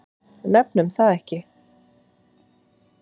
Nefnum það ekki.